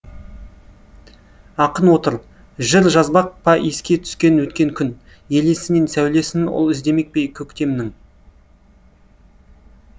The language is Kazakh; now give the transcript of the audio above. ақын отыр жыр жазбақ па еске түскен өткен күн елесінен сәулесін ол іздемек пе көктемнің